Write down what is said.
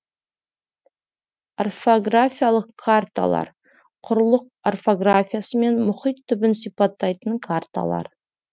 орографиялық карталар құрлық орографиясы мен мұхит түбін сипаттайтын карталар